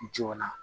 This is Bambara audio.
Joona